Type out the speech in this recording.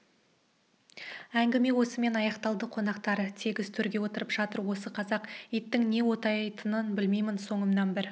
әңгіме осымен аяқталды қонақтар тегіс төрге отырып жатыр осы қазақ иттің не оттайтынын білмеймін соңымнан бір